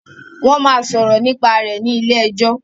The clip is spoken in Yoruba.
Wón má sòrò nípa rẹ ní ilé ejó